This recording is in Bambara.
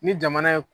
Ni jamana ye